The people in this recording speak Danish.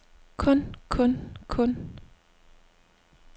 kun kun kun